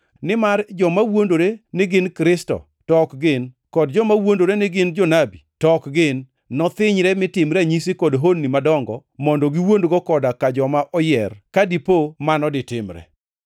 Nimar joma wuondore ni gin Kristo to ok gin kod joma wuondore ni gin jonabi to ok gin nothinyre mi tim ranyisi kod honni madongo mondo giwuondgo koda ka joma oyier, ka dipo mano ditimre.